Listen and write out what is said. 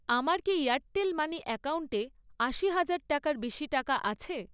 আমার কি Airtel money অ্যাকাউন্টে আশি হাজার টাকার বেশি টাকা আছে?